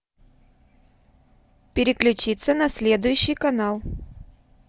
переключиться на следующий канал